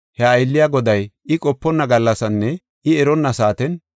he aylliya goday I qoponna gallasinne I eronna saaten,